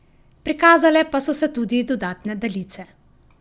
Prikazale pa so se tudi dodatne daljice.